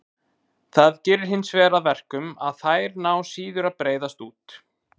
Það gerir hinsvegar að verkum að þær ná síður að breiðast út.